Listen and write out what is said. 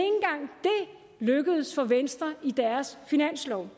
lykkedes for venstre i deres finanslov